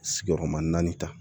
Sigiyɔrɔma naani ta